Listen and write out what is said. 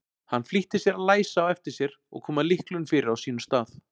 Hann flýtti sér að læsa á eftir sér og koma lyklinum fyrir á sínum stað.